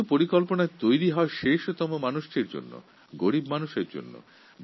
আসলে প্রকল্প বানানো হয় সাধারণ মানুষের জন্য গরীব মানুষের জন্য